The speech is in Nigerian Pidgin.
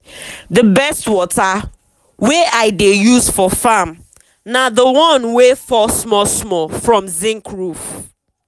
the best water wey i dey use for farm na the one wey fall small small from zinc roof.